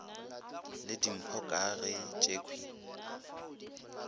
le dimpho ka ge tšekhwi